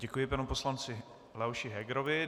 Děkuji panu poslanci Leoši Hegerovi.